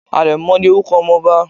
Àrẹ̀mo ni Orúko ọmọ ọba